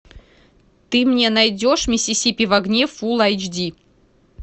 ты мне найдешь миссисипи в огне фулл эйч ди